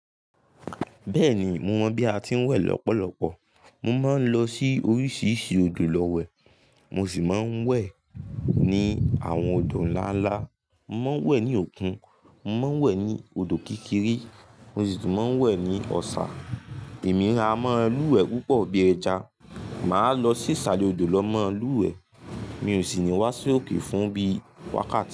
Bẹ́ẹ̀ni mo mọ bí a ti ń wẹ̀ lọ́pọ̀lọpọ̀. Mo máa ń lọ sí oríṣiríṣi odò lọ wẹ̀. Mo sì máa ń wẹ̀ ní àwọn odò ńlá ńlá. Mo má ń wẹ̀ ní òkun, mo má ń wẹ̀ ní odò kékeré, mo sì tún máa ń wẹ̀ ní ọ̀sá. Èmi raamọ́ luwẹ̀ púpọ̀ bí ẹja. Máa lọ sí isalẹ̀ odò lọ mọ́ luwẹ̀. Mi ò sì ní wá sí òkè fún bí wákàtí.